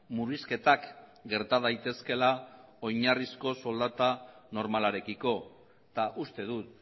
murrizketak gerta daitezkeela oinarrizko soldata normalarekiko eta uste dut